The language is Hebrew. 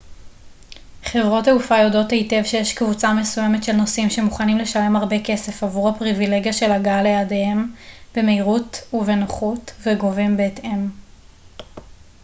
חברות תעופה יודעות היטב שיש קבוצה מסוימת של נוסעים שמוכנים לשלם הרבה כסף עבור הפריבילגיה של הגעה ליעדיהם במהירות ובנוחות וגובים בהתאם